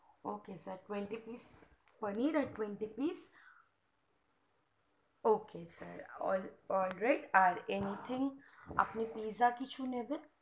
ok sir twenty pice paneer আর twenty pice ok sir alright anything আর আপনে pizza কিছু নেবেন